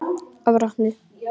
Og brotni.